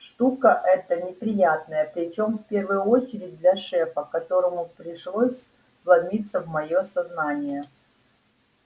штука это неприятная причём в первую очередь для шефа которому пришлось вломиться в моё сознание